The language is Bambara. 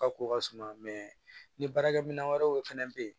Ka ko ka suma ni baarakɛminɛn wɛrɛw fana bɛ yen